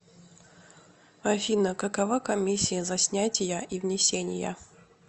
афина какова комиссия за снятия и внесения